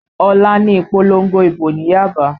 Ọ̀la ni ìpolongo ìbò ní Yaba